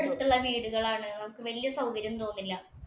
അടുത്തുള്ള വീടുകളാണ്. വല്യ സൌകര്യം തോന്നില്ല.